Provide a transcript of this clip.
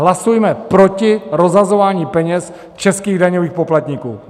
Hlasujme proti rozhazování peněz českých daňových poplatníků!